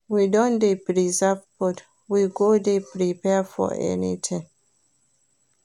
We don dey preserve food, we go dey prepared for anytin.